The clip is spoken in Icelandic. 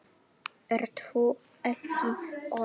Ert þú ekki Örn?